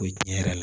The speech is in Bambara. O ye tiɲɛ yɛrɛ la